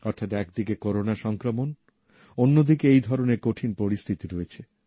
অর্থাৎ একদিকে করোনা সংক্রমণ অন্যদিকে এই ধরনের কঠিন পরিস্থিতি রয়েছে